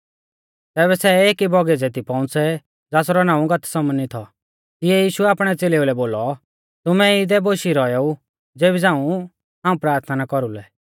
तैबै सै एकी बौगीच़ै दी पौउंच़ै ज़ासरौ नाऊं गतसमनी थौ तिऐ यीशुऐ आपणै च़ेलेऊ लै बोलौ तुमै इदै बोशी रौएऊ ज़ेबी झ़ांऊ हाऊं प्राथना कौरुलै